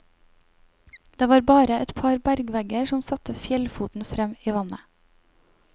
Det var bare et par bergvegger som satte fjellfoten frem i vannet.